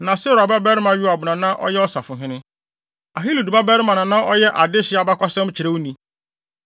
Na Seruia babarima Yoab na na ɔyɛ ɔsafohene. Ahilud babarima Yehosafat na na ɔyɛ adehye abakɔsɛmkyerɛwni.